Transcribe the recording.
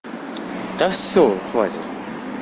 да всё хватит